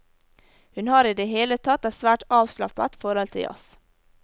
Hun har i det hele tatt et svært avslappet forhold til jazz.